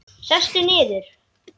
Sestu niður.